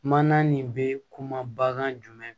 Mana nin bɛ kuma bagan jumɛn